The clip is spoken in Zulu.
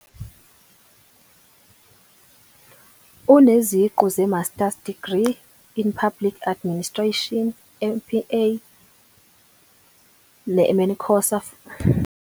Uneziqu ze-Master Degree in Public Administration, MPA, ne-MANCOSA futhi uyi-HTML coder nesitifiketi esiqinisekisiwe.